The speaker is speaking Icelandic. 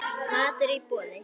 Matur í boði.